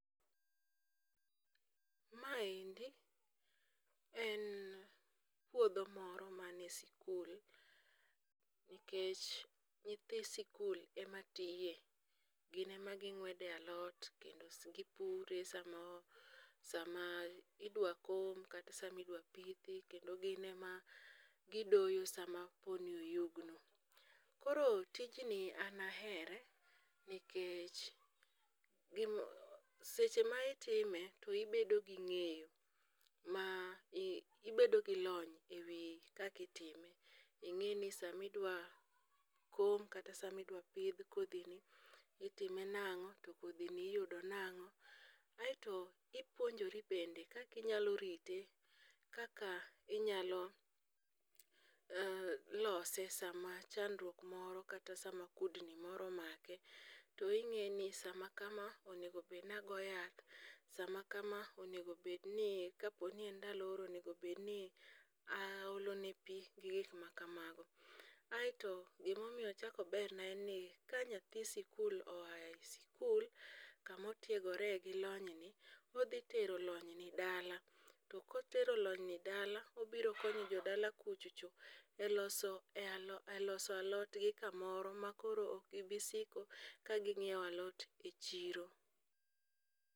Maendi en puodho moro mane sikul, nikech nyithi sikul ema tiye, gin ema ging'wede alot kendo gipure sama idwa kom kata sama idwa pithi, kendo gin ema gidoyo sama koro oyugno. Koro tijni an ahere nikech seche ma itime, to ibedo gi ng'eyo ma ibedo gi lony e wi kaka itime, ing'aeni sama idwa kom kata sama idwa pidh kodhini, itime nang'o ,to kodhini iyudo nang'o, aeto ipuonjori bende kaka inyalo rite, kaka inyalo lose sama chandruok moro kata sama kudni moro omake, to ing'eni sama kama onego obedni agoyo yath, sama kama, kapo ni en ndalo oro onego obedni aolone pi gi gik makamago, aeto gimomiyo ochako oberna en ni ka nyathi sikul oaye sikul kama otiegore gi lobyni, todhi tero lonyni dala, to kotero lonyni dala, obiro konyo jodala kuchocho e loso alotgi kamoro ma koro ok gibi siko ka ging'iewo alot e siro.